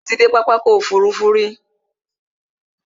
Ṣé o ti dé pápá ọkò òfurufú rí?